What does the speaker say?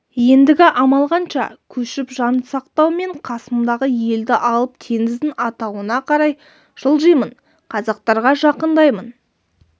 ендігі амал қанша көшіп жан сақтау мен қасымдағы елді алып теңіздің атауына қарай жылжимын қазақтарға жақындаймын